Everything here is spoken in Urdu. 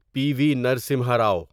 پی وی نرسمہا رو